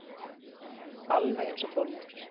Alveg einsog Þórhildur.